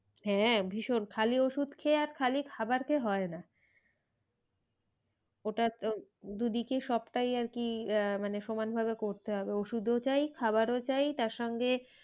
হ্যাঁ ভীষণ খালি ওষুধ খেয়ে আর খালি খাবার খেয়ে হয় না। ওটা দুদিকে সবটাই আর কি আহ মানে সমান ভাবে করতে হবে ওষুধ ও চাই খাবার ও চাই তার সঙ্গে,